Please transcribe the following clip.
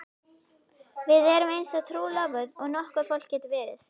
Við erum eins trúlofuð og nokkurt fólk getur verið.